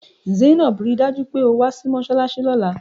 Zainab! Rí i dájú pé o wá sí mọ́ṣáláṣí lọ́la!